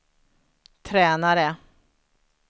tränare